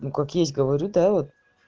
ну как есть говорю да вот